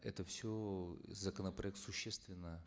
это все законопроект существенно